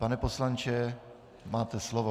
Pane poslanče, máte slovo.